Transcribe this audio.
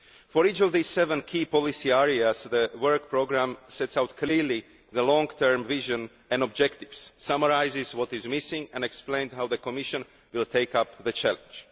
For each of these seven key policy areas, the work programme sets out clearly the long term vision and objectives, summarises what is missing and explains how the Commission will take up the challenge.